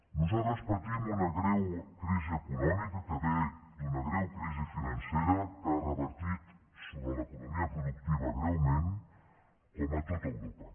nosaltres patim una greu crisi econòmica que ve d’una greu crisi financera que ha revertit sobre l’economia productiva greument com a tot europa